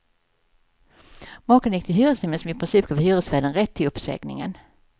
Makarna gick till hyresnämnden, som i princip gav hyresvärden rätt till uppsägningen.